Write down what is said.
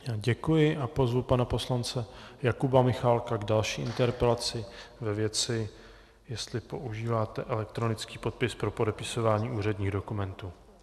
Děkuji a pozvu pana poslance Jakuba Michálka k další interpelaci ve věci, jestli používáte elektronický podpis pro podepisování úředních dokumentů.